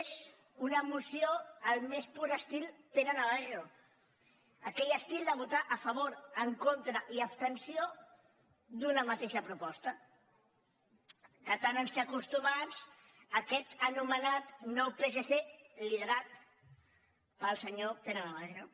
és una moció al més pur estil pere navarro aquell estil de votar a favor en contra i abstenció en una mateixa proposta a què tant ens té acostumats aquest anomenat nou psc liderat pel senyor pere navarro